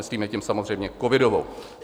Myslíme tím samozřejmě covidovou.